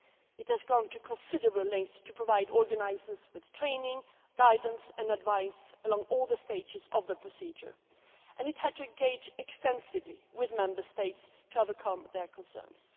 It has gone to considerable lengths to provide organisers with training, guidance and advice at all stages of the procedure, and it has had to engage extensively with the Member States to overcome their concerns.